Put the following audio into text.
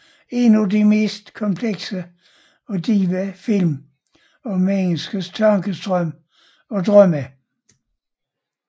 En af de mest komplekse og dybe film om menneskets tankestrøm og drømme